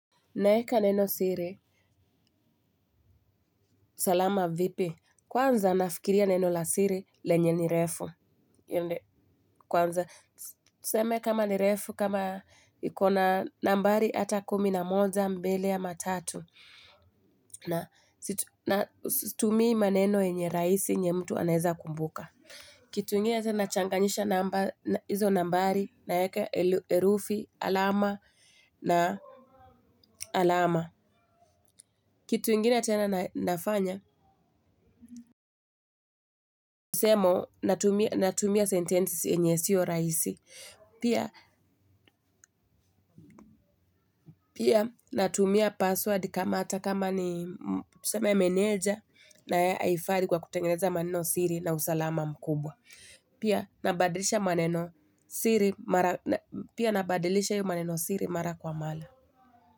Naeka neno siri, salama vipi, kwanza nafikiria neno la siri lenye ni refu, kwanza tuseme kama ni refu, kama iko na nambari ata kumi na moja mbili ama matatu, na situmii maneno yenye rahisi nye mtu anaweza kumbuka. Kitu ingine tena nachanganyisha nambari naeka herufi, alama na alama. Kitu ingine tena nafanya, nisemo natumia sentences enye sio rahisi. Pia natumia password kama ata kama ni tuseme meneja na Ai haifari kwa kutengeneza manenosiri na usalama mkubwa. Pia nabadilisha hio maneno siri mara kwa mala.